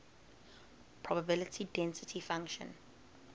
probability density function